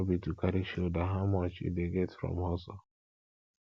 no be to carry shoulder how much you dey get from hustle